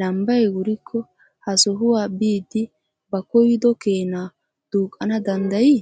lambbay wurikko ha sohuwaa biidi ba koyyido keena duuqana danddayi?